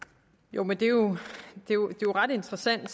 jo men det er jo ret interessant at